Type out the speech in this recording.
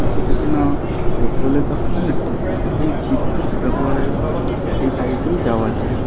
এটাতে না পেট্রোলের দরকার হয় না ডিজেল খালি বিদ্যুৎ ব্যবহারে এই গাড়িটি যাওয়া যায়।